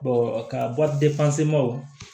ka